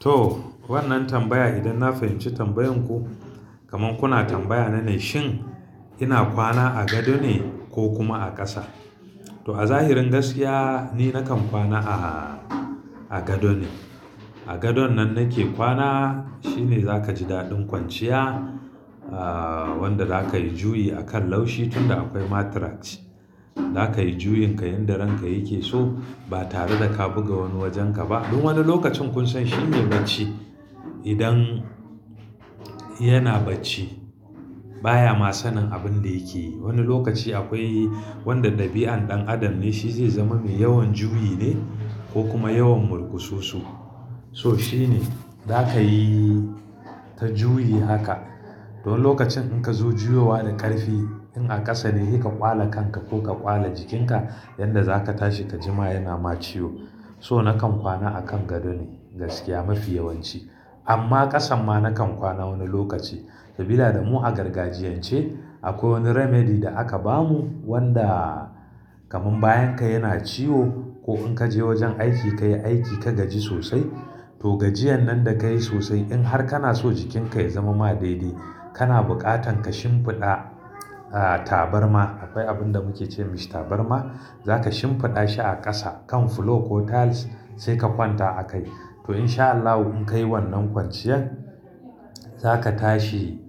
To wannan tambaya, idan na fahimci tambayan ku kamar kuna tambaya na ne shin ina kwana a gado ne ko kuma a ƙasa? To a zahirin gaskiya ni nakan kwana a, a gado ne. A gadon nan nake kwana shine za ka ji daɗin kwanciya, ah wanda za ka yi juyi akan laushi tunda akwai mattress. Za ka yi juyin ka yanda ranka yake so ba tare da ka buga wani wajen ka ba. Duk wani lokacin kun san shine bacci idan yana bacci baya ma sanin abin da yake yi. Wani lokaci akwai wanda dabi'an ɗan adam ne shi zai zama mai yawan juyi ne ko kuma yawan murkususu. So shi ne za ka yi ta juyi haka. To lokacin in ka zo juyowa da ƙarfi, in a ƙasa ne kai ka ƙwala kanka ko ka ƙwala jikinka yanda za ka tashi ka ji ma yana ma ciwo. So nakan kwana akan gado ne gaskiya mafi yawanci. Amma ƙasan ma nakan kwana wani lokaci. Sabida da mu a gargajiyan ce akwai wani remedy da aka ba mu wanda kamar bayan ka yana ciwo ko in ka je wajen aiki kayi aiki ka gaji sosai. To gajiyan nan da ka yi sosai in har kana so jikinka ya zama ma daidai, kana buƙatan ka shimfiɗa ah tabarma. Akwai abin da muke ce mai shi tabarma, za ka shimfiɗa shi a ƙasa kan floor ko tiles sai ka kwanta a kai. To in sha Allah in ka yi wannan kwanciyar, za ka tashi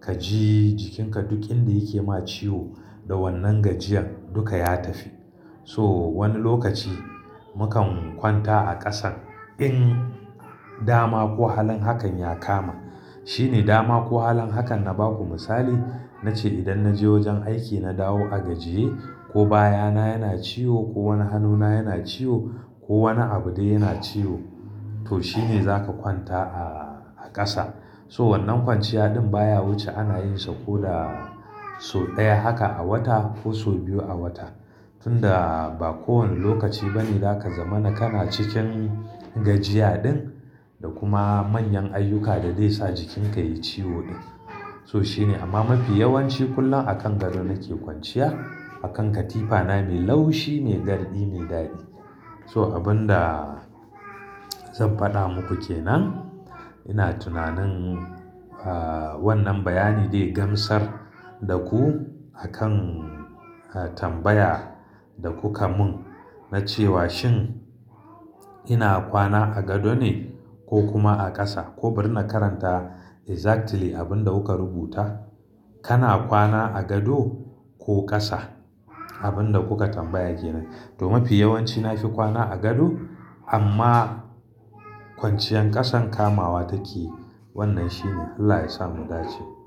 ka ji jikinka duk inda yake ma ciwo da wannan gajiyan duka ya tafi. To wani lokaci mukan kwanta a ƙasan in dama ko halin hakan ya kama. Shi ne dama ko halin hakan na ba ku misali, na ce idan na je wajen aiki na dawo a gajiye ko baya na yana ciwo, ko wani hannuna yana ciwo, ko wani abu dai yana ciwo. To shi ne za ka kwanta a, a ƙasa. To wannan kwanciya din baya wuce ana yin sa ko da sau ɗaya haka a wata ko sau biyu a wata. Tunda ba kowane lokaci bane za ka zama na kana cikin gajiya din da kuma manyan ayyuka da dai sa jikinka yayi ciwo din. So shi ne, amma mafi yawanci kullum akan gado nake kwanciya. Akan katifana mai laushi ne, daradi ne, dadi. So abin da zan faɗa muku kenan ina tunanin ah wannan bayani dai gamsar da ku akan tambaya da kuka mun na cewa shin ina kwana a gado ne ko kuma a ƙasa? Ko bar na karanta exactly abin da kuka rubuta. Kana kwana a gado ko ƙasa? Abin da kuka tambaya kenan. To mafi yawanci na fi kwana a gado amma kwanciyar ƙasan kamawa take. Wannan shi ne Allah yasa mu dace.